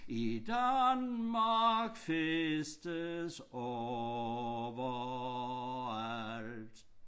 I Danmark festes overalt